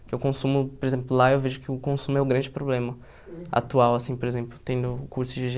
Porque eu consumo, por exemplo, lá eu vejo que o consumo é o grande problema atual, assim, por exemplo, tendo o curso de gê